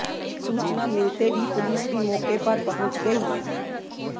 सूचना मिलते ही पुलिस भी मौके पर पहुंच गई